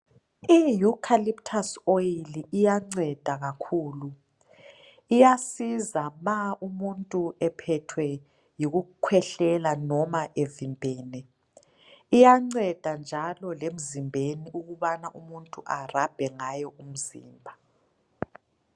Ieucalyptus oil iyanceda kakhulu, iyanceda nxa umuntu ephethwe yikukhwehlelela loba evimbene. Iyanceda njalo lemzimbeni ukubana umuntu arabhe ngayo umzimba.